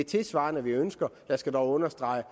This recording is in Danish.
tilsvarende vi ønsker jeg skal dog understrege